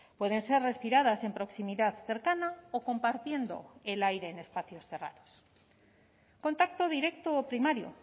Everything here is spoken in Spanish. pueden ser respiradas en proximidad cercana o compartiendo el aire en espacios cerrados contacto directo o primario